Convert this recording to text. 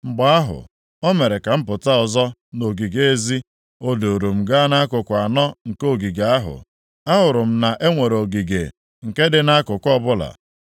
Mgbe ahụ, o mere ka m pụta ọzọ nʼogige ezi. O duuru m gaa nʼakụkụ anọ nke ogige ahụ. Ahụrụ m na e nwere ogige nke dị nʼakụkụ ọbụla.